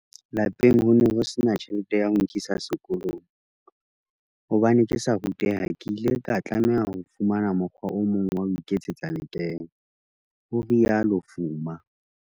"Lapeng ho ne ho sena tjhelete ya ho nkisa sekolong. Hobane ke sa ruteha, ke ile ka tlameha ho fumana mokgwa o mong wa ho iketsetsa lekeno," ho rialo Fuma.